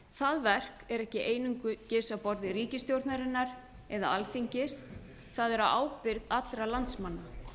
það verk er ekki einungis á borði ríkisstjórnarinnar eða alþingis það er á ábyrgð allra landsmanna